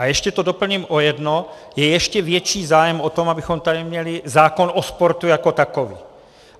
A ještě to doplním o jedno, je ještě větší zájem o to, abychom tady měli zákon o sportu jako takový.